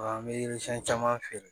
An bɛ yiri siɲɛn caman feere